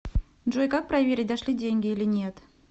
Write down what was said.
джой как проверить дошли деньги или нет